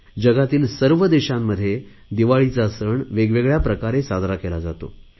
जगातील सर्व देशांमध्ये दिवाळीचा सण वेगवेगळया प्रकारे साजरा केला जातो